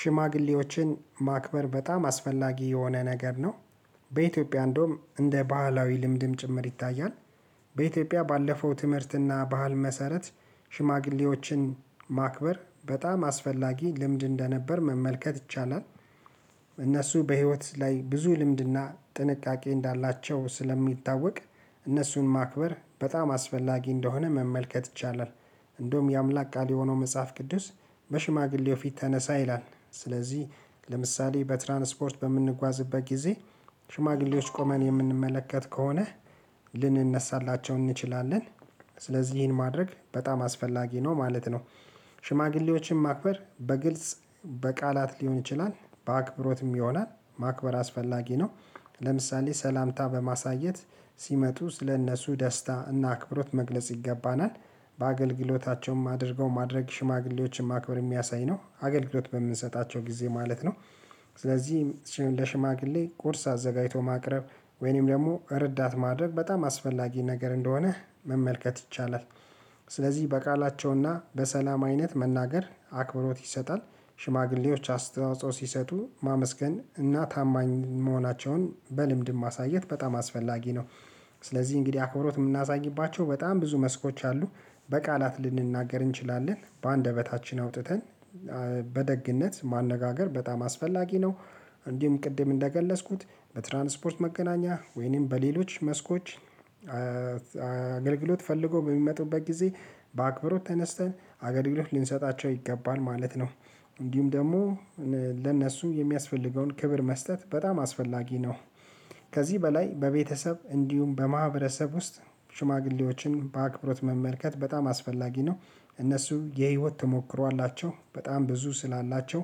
ሽማግሌዎችን ማክበር በጣም አስፈላጊ የሆነ ነገር ነው። በኢትዮጵያ እንደውም እንደ ባህላዊ ልምድም ጭምር ይታያል። በኢትዮጵያ ባለፈው ትምህርት እና ባህል መሰረት ሽማግሌዎችን ማክበር በጣም አስፈላጊ ልምድ እንደነበር መመልከት ይቻላል። እነሱ በህይወት ላይ ብዙ ልምድ እና ጥንቃቄ እንዳላቸው ስለሚታወቅ። እነሱን ማክበር በጣም አስፈላጊ እንደሆነ መመልከት ይቻላል። እንደውም የአምላክ ቃል የሆነው መጽሐፍ ቅዱስ በሽማግሌው ፊት ተነሳ ይላል። ስለዚህ ለምሳሌ በትራንስፖርት በምንጓዝበት ጊዜ ሽማግሌዎች ቆመን የምንመለከት ከሆነ ልንነሳላቸው እንችላለን። ስለዚህ ይህን ማድረግ በጣም አስፈላጊ ነው ማለት ነው። ሽማግሌዎችን ማክበር በግልጽ በቃላት ሊሆን ይችላል በአክብሮትም ይሆናል ማክበር አስፈላጊ ነው። ለምሳሌ ሰላምታ በማሳየት ሲመጡ ስለእነሱ ደስታ እና አክብሮት መግለጽ ይገባናል። በአገልግሎታቸውም አድርገው ማድረግ ሽማግሌዎችን ማክበር የሚያሳይ ነው አገልግሎት በምንሰጣቸው ጊዜ ማለት ነው። ስለዚህም ለሽማግሌ ቁርስ አዘጋጅቶ ማቅረብ ወይንም ደግሞ ረዳት ማድረግ በጣም አስፈላጊ ነገር እንደሆነ መመልከት ይቻላል። ስለዚህ በቃላቸው እና በሰላም አይነት መናገር አክብሮት ይሰጣል። ሽማግሌዎች አስተዋጽኦ ሲሰጡ ማመስገን እና ታማኝ መሆናቸውን በልምድ ማሳየት በጣም አስፈላጊ ነው። ስለዚህ እንግዲህ አክብሮት የምናሳይባቸው በጣም ብዙ መስኮች አሉ። በቃላት ልንናገር እንችላለን በአንደበታችን አውጥተን በደግነት ማነጋገር በጣም አስፈላጊ ነው። እንዲሁም ቅድም እንደገለጽኩት በትራንስፖርት መገናኛ ወይንም በሌሎች መስኮች አገልግሎት ፈልጎ በሚመጡበት ጊዜ በአክብሮት ተነስተን አገልግሎት ልንሰጣቸው ይገባል ማለት ነው። እንዲሁም ደግሞ ለእነሱም የሚያስፈልገውን ክብር መስጠት በጣም አስፈላጊ ነው። ከዚህ በላይ በቤተሰብ እንዲሁም በማህበረሰብ ውስጥ ሽማግሌዎችን በአክብሮት መመልከት በጣም አስፈላጊ ነው። እነሱ የህይወት ተሞክሮ አላቸው በጣም ብዙ ስላላቸው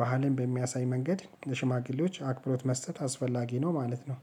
ባህልን በሚያሳይ መንገድ ሽማግሌዎች አክብሮት መስጠት አስፈላጊ ነው ማለት ነው